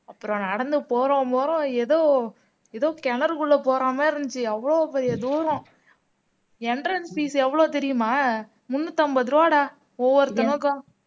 அப்புறம் நடந்து போறோம் போறோம் ஏதோ ஏதோ கிணறுக்குள்ள போற மாதிரி இருந்துச்சு அவ்வளவு பெரிய தூரம் entrance fees எவ்வளவு தெரியுமா முன்னூத்தி ஐம்பது ரூபாய்டா ஒவ்வொருத்தனுக்கும்